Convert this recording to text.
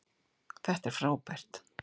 Þetta er frábært